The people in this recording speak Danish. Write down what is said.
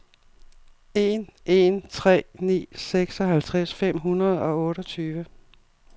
en en tre ni seksoghalvtreds fem hundrede og otteogtyve